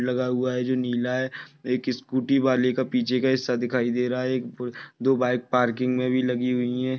लगा हुआ है जो नीला है एक सकूटी वाले का पीछे का हिस्सा दिखाई रहा है दो बाईक पार्किंग में भी लगी हुई है।